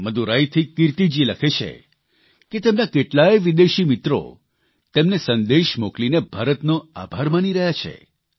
મદુરાઇથી કિર્તીજી લખે છે કે તેમના કેટલાય વિદેશી મિત્રો તેમને સંદેશા મોકલીને ભારતનો આભાર માની રહ્યા છે